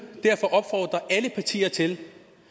derfor opfordre alle partier til